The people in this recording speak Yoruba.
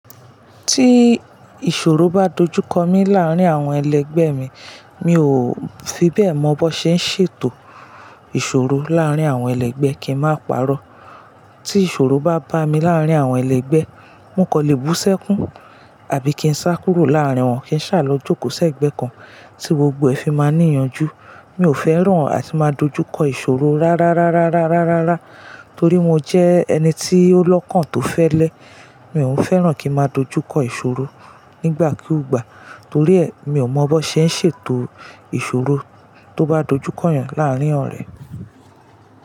Tí ìṣòro bá dojú kọ mi láàrín àwọn ẹlẹgbẹ́ mi, mi ò fi bẹ́ẹ̀ mọ bó ṣe ń ṣètò ìṣòro láàrín àwọn ẹlẹgbẹ́ kí n máa pàrọ́. Tí ìṣòro bá bá mi láàrín àwọn ẹlẹgbẹ́, n kò le bú ṣẹ́kún àbí kí n sá kúrò láàrín wọn kí n ṣàlọ́ jókòó sé ẹgbẹ́ kan tí gbogbo ẹ fi máa ní ìyanjú. Mi ò fẹ́ràn àti máa dojú kọ ìṣòro rárárárá, torí mo jẹ́ ẹni tí ó lọ́kàn tó fẹ́lẹ́. Mi ò fẹ́ràn kí n máa dojú kọ ìṣòro nígbà kú ìgbà, torí ẹ mi ò mọ bó ṣe ń ṣètò ìṣòro tó bá dojú kọ̀yàn láàrín ọrẹ.